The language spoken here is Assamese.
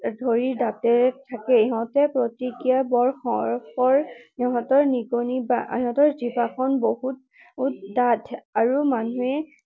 ধৰি দাঁতেৰে থাকে। সিহতৰ প্ৰতিক্ৰিয়া বৰ খৰ। সিহতৰ নিগনি বা, সিহতৰ জিভাখন বহুত ডাঠ আৰু মানুহে